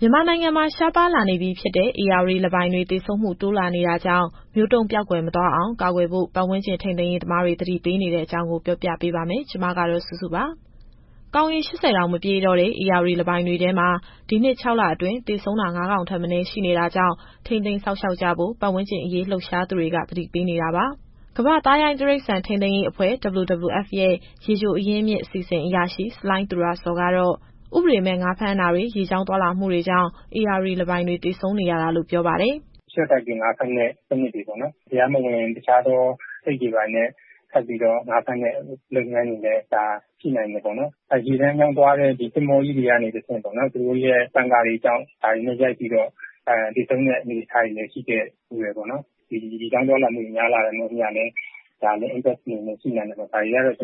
မြန်မာနိုင်ငံမှာ ရှားပါးလာနေပြီဖြစ်တဲ့ ဧရာဝတီလင်းပိုင်တွေ သေဆုံးမှု တိုးလာနေတာကြောင့် မျိုးတုန်းပျောက်ကွယ် မသွားအောင် ကာကွယ်ဖို့ ပတ်ဝန်းကျင်ထိန်းသိမ်းရေး သမားတွေ သတိပေးနေတဲ့အကြောင်း ဗွီအိုအေမြန်မာပိုင်း သတင်းထောက်စုစုက ပြောပြပါမယ်။ ကောင်ရေ ၈၀ တောင်မပြည့်တော့တဲ့ ဧရာဝတီလင်းပိုင်တွေထဲမှာ ဒီနှစ် ၆ လအတွင်း သေဆုံးတာ ၅ ကောင်ထက်မနည်း ရှိနေတာကြောင့် ထိန်းသိမ်းစောင့်ရှောက်ကြဖို့ ပတ်ဝန်းကျင်အရေး လှုပ်ရှားသူတွေ သတိပေးနေတာပါ။ ကမ္ဘာ့သားရိုင်းတိရစ္ဆာန် ထိန်းသိမ်းရေးအဖွဲ့ (WWF) ရဲ့ ရေချိုအရင်းမြစ် အစီစဉ်အရာရှိ ဆလိုင်းသူရဇော်ကတော့ ဥပဒေမဲ့ ငါးဖမ်းတာတွေ ရေကြောင်းသွားလာမှုတွေကြောင့် ဧရာဝတီလင်းပိုင်တွေ သေဆုံးနေရတာလို့ ပြောပါတယ်။ “ရှော့တိုက်ပြီး ငါးဖမ်းတဲ့ စနစ်တွေ၊ တရားမဝင် အဆိပ်ခတ်ငါးဖမ်းတဲ့ လုပ်ငန်းတွေလည်း ရှိနိုင်တယ်ပေါ့။ ရေလမ်းကြောင်းသွားတဲ့ သင်္ဘောကြီးတွေကနေတဆင့် သူတို့ရဲ့ပန်ကာတွေကြောင့် ဒါတွေနဲ့ရိုက်ပြီးတော့ သေဆုံးတဲ့အနေအထားတွေလည်း ရှိခဲ့ဖူးတယ်။ ဒီရေကြောင်းသွားလာမှုတွေ များလာတဲ့အမျှလည်း ဒါလည်းသက်ရောက်မှုရှိနိုင်တယ်။ ဒါတွေကတော့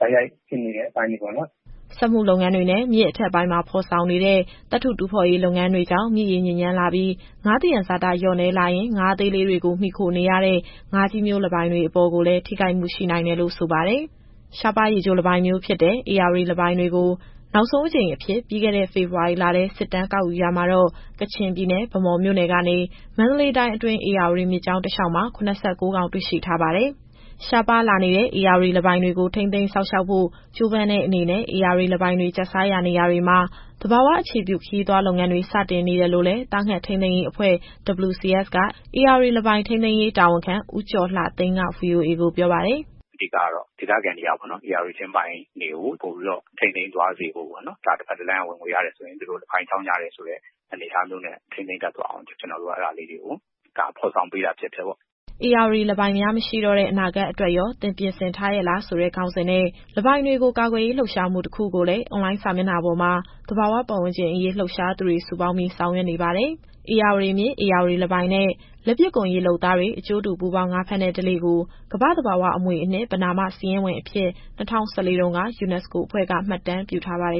တိုက်ရိုက်ဖြစ်နေတဲ့ အပိုင်းတွေပေါ့။” စက်မှုလုပ်ငန်းတွေနဲ့ မြစ်အထက်ပိုင်းမှာ ဖော်ဆောင်နေတဲ့ သတ္တုတူးဖော်လုပ်ငန်းတွေကြောင့် မြစ်ရေညစ်ညမ်းလာပြီး ငါးသယံဇာတလျှော့နည်းလာရင် ငါးအသေးလေးတွေကို မှီခိုနေရတဲ့ ငါးကြီးမျိုးလင်းပိုင်တွေအပေါ်ကိုလည်း ထိခိုက်မှုရှိနိုင်တယ်လို့ ဆိုပါတယ်။ ရှားပါးရေချိုလင်းပိုင်မျိုးဖြစ်တဲ့ ဧရာဝတီလင်းပိုင်တွေကို နောက်ဆုံးအကြိမ်အဖြစ် ပြီးခဲ့တဲ့ ဖေဖော်ဝါရီလထဲ စစ်တမ်းကောက်ယူရာမှာတော့ ကချင်ပြည်နယ် ဗန်းမော်မြို့နယ်ကနေ မန္တလေးတိုင်းအတွင်း ဧရာဝတီမြစ်ကြောင်း တလျှောက်မှာ ၇၉ ကောင် တွေ့ရှိထားပါတယ်။ ရှားပါးလာနေတဲ့ ဧရာဝတီလင်းပိုင်တွေကို ထိန်းသိမ်းစောင့်ရှောက်ဖို့ ကြိုးပမ်းတဲ့အနေနဲ့ ဧရာဝတီလင်းပိုင်တွေ ကျတ်စားရာနေရာတွေမှာ သဘာဝအခြေပြု ခရီးသွားလုပ်ငန်းတွေ စတင်နေတယ်လို့လည်း သားငှက်ထိန်းသိမ်းရေးအဖွဲ့ WCS က ဧရာဝတီလင်းပိုင် ထိန်းသိမ်းရေးတာဝန်ခံ ဦးကျော်လှသိန်းက VOA ကိုပြောပါတယ်။ “အဓိကတော့ ဒေသခံတွေက ဧရာဝတီလင်းပိုင်းတွေကို ပိုပြီးတော့ထိန်းသိမ်းသွားစေဖို့ပေါ့။ ဒါတဖက်တလမ်းက ဝင်ငွေရတယ်ဆိုရင် လင်းပိုင်ကြောင့်ရတယ်ဆိုတဲ့ အနေအထားမျိုးနဲ့ ထိန်းသိမ်းတတ်သွားအောင် ကျနော်တို့က အဲဒါလေးတွေကို ဖော်ဆောင်ပေးတာဖြစ်ပါတယ်။” “ဧရာဝတီလင်းပိုင်များ မရှိတော့တဲ့ အနာဂတ်အတွက်ရော သင်ပြင်ဆင်ထားရဲ့လား” ဆိုတဲ့ ခေါင်းစဉ်နဲ့ လင်းပိုင်တွေကိုကာကွယ်ရေး လှုပ်ရှားမှု တခုကိုလည်း အွန်လိုင်းစာမျက်နှာပေါ်မှာ သဘာဝပတ်ဝန်းကျင်အရေး လှုပ်ရှားသူတွေစုပေါင်းပြီး ဆောင်ရွက်နေပါတယ်။ ဧရာဝတီမြစ်၊ ဧရာဝတီလင်းပိုင်နဲ့ လက်ပစ်ကွန်ရေလုပ်သားတွေ အကျိုးတူပူးပေါင်း ငါးဖမ်းတဲ့ဓလေ့ကို ကမ္ဘာ့သဘာဝအမွေအနှစ် ပဏာမစာရင်းဝင်အဖြစ် ၂၀၁၄ တုန်းက UNESCO အဖွဲ့က မှတ်တမ်းပြုထားပါတယ်